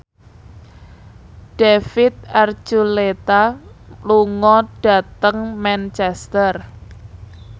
David Archuletta lunga dhateng Manchester